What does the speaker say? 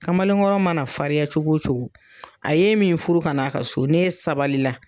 Kamalen kɔrɔ mana farinya cogo o cogo a ye e min furu ka n'a ka so n'e sabali la